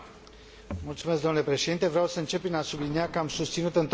Vreau să încep prin a sublinia că am susținut întotdeauna aderarea Serbiei.